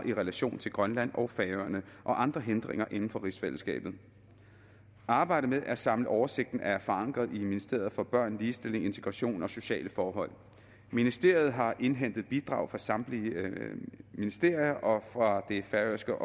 i relation til grønland og færøerne og andre hindringer inden for rigsfællesskabet arbejdet med at samle oversigten er forankret i ministeriet for børn ligestilling integration og sociale forhold ministeriet har indhentet bidrag fra samtlige ministerier og fra det færøske